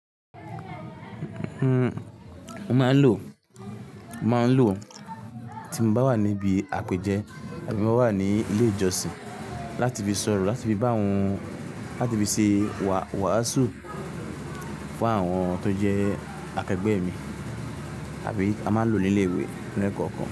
Uhm, mo máa ń lò, mo máa ń lò tí mo bá wà níbi àpèjẹ àbí mo wà ní ilé ìjọsìn láti fi sọ̀rọ̀, láti fi bá wọn, láti fi ṣe wàásù fún àwọn tó jẹ́ akẹgbẹ́ mi àbí a máa lò ó ní ilé ìwé ní ẹkọọkan.